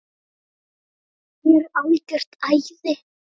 Rok, hann er algjört æði.